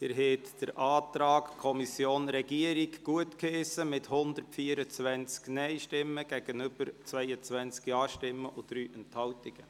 Sie haben den Antrag Kommission/Regierung gutgeheissen mit 124 Nein- zu 22 JaStimmen bei 3 Enthaltungen.